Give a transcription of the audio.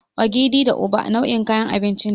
Ogiri da Uba nau'in kayan abinci ne.